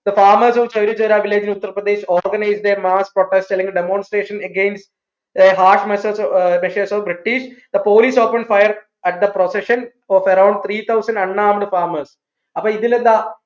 the farmers of Chauri Chaura Uttar Pradesh organised a mass protest അല്ലെങ്കിൽ demonstration against a hard measure measures of British the police open fired at the procession of around three thousand unarmed farmers അപ്പോ ഇതിൽ എന്താ